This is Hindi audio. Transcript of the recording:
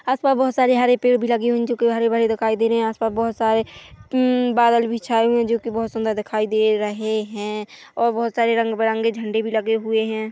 आस-पास बहुत सारे हरे-पेड़ भी लगे हुए है जोकि हरे- भरे दिखाई दे रहे है आस-पास बहुत सारे अम बादल भी छाये हुए है जोकि बहुत सुंदर दिखाई दे रहे है और बहुत सारे रंग-बिरंगे झंडे भी लगे हुए हैं।